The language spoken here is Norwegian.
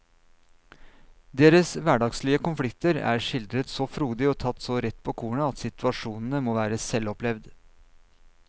Deres hverdagslige konflikter er skildret så frodig og tatt så rett på kornet at situasjonene må være selvopplevd.